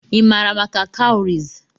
Ị maara maka cowries?